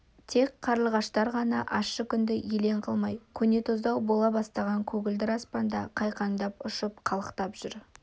тек қарлығаштар ғана ащы күнді елең қылмай көнетоздау бола бастаған көгілдір аспанда қайқаңдап ұшып қалықтап жүр